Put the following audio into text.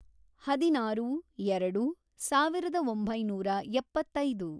ಹದಿನಾರು, ಎರೆಡು, ಸಾವಿರದ ಒಂಬೈನೂರ ಎಪ್ಪತ್ತೈದು